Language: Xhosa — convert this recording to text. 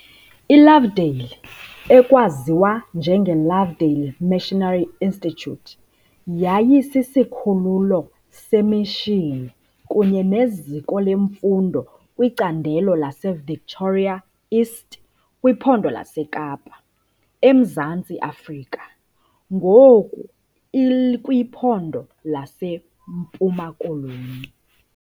ILovedale, ekwaziwa njengeLovedale Missionary Institute yayisisikhululo semishini kunye neziko lemfundo kwicandelo laseVictoria East kwiPhondo laseKapa, eMzantsi Afrika, ngoku ikwiPhondo leMpuma Koloni.